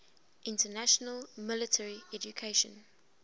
international military education